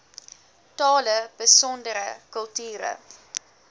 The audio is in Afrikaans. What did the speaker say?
tale besondere kulture